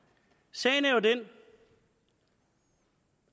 sagen er jo den